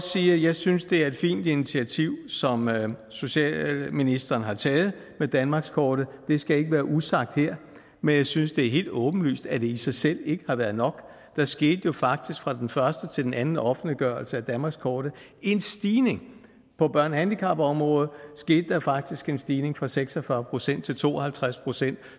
sige at jeg synes det er et fint initiativ som socialministeren har taget med danmarkskortet det skal ikke være usagt her men jeg synes det er helt åbenlyst at det i sig selv ikke har været nok der skete jo faktisk fra den første til den anden offentliggørelse af danmarkskortet en stigning på børne og handicapområdet skete der faktisk en stigning fra seks og fyrre procent til to og halvtreds procent